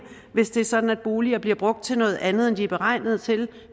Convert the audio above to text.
hvis det er sådan at boliger bliver brugt til noget andet end de er beregnet til